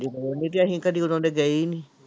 ਲੋੜ ਨੀ ਤੇ ਅਸੀਂ ਕਦੇ ਉਹਨਾਂ ਦੇ ਗਏ ਹੀ ਨੀ।